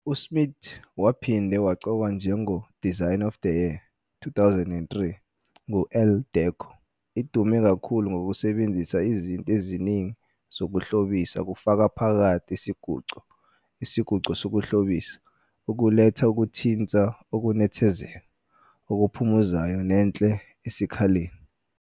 USmith waphinde waqokwa njengo "Designer of the Year 2003" ngu-Elle Decor. Idume kakhulu ngokusebenzisa izinto eziningi zokuhlobisa kufaka phakathi isiguqo, isiguqo sokuhlobisa, ukuletha ukuthinta okunethezeka, okuphumuzayo nenhle esikhaleni.